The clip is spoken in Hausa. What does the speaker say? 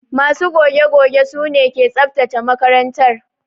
Ma su goge goge su ne ke tsabtace makarantar.